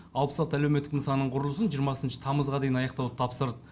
алпыс алты әлеуметтік нысанның құрылысын жиырмасыншы тамызға дейін аяқтауды тапсырды